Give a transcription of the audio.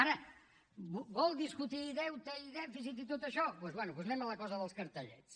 ara vol discutir deute i dèficit i tot això doncs bé anem a la cosa dels cartellets